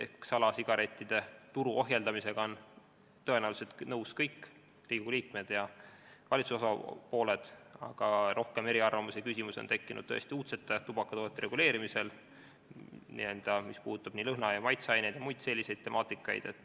Ehk salasigarettide turu ohjeldamisega on tõenäoliselt nõus kõik Riigikogu liikmed ja valitsuse osapooled, aga rohkem eriarvamusi ja küsimusi on tekkinud uudsete tubakatoodete reguleerimisel, mis puudutab lõhna- ja maitseaineid ning muid selliseid teemasid.